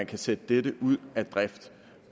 kan sætte dette ud